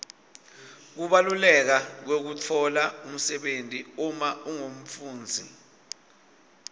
kubaluleka kwekutfola umsebenti uma ungumfundzi